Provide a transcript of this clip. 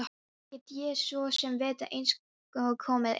Hvað get ég svo sem vitað einsog komið er?